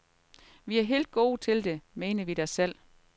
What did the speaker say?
Vi er helt gode til det, mener vi da selv.